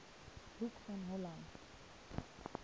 hoek van holland